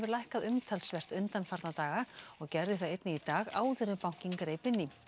lækkað umtalsvert undanfarna daga og gerði það einnig í dag áður en bankinn greip inn í